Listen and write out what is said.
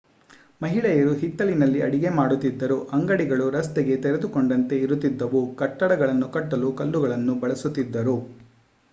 ಮಹಿಳೆಯರು ಹಿತ್ತಲಿನಲ್ಲಿ ಅಡುಗೆ ಮಾಡುತಿದ್ದರು ಅಂಗಡಿಗಳು ರಸ್ತೆಗೆ ತೆರೆದುಕೊಂಡಂತೆ ಇರುತ್ತಿದ್ದವು ಕಟ್ಟಡಗಳನ್ನು ಕಟ್ಟಲು ಕಲ್ಲುಗಳನ್ನು ಬಳಸುತಿದ್ದರು